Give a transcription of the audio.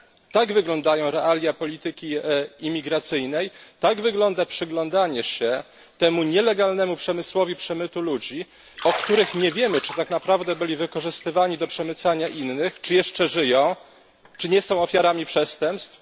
Tak wyglądają realia polityki imigracyjnej, tak wygląda przyglądanie się temu nielegalnemu przemysłowi przemytu ludzi, o których nie wiemy, czy tak naprawdę byli wykorzystywani do przemycania innych, czy jeszcze żyją, czy nie są ofiarami przestępstw.